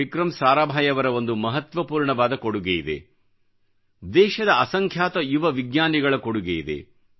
ವಿಕ್ರಂ ಸಾರಾಭಾಯಿಯವರ ಒಂದು ಮಹತ್ವಪೂರ್ಣವಾದ ಕೊಡುಗೆ ಇದೆದೇಶದ ಅಸಂಖ್ಯಾತ ಯುವ ವಿಜ್ಞಾನಿಗಳ ಕೊಡುಗೆ ಇದೆ